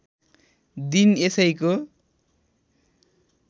दिन यसैको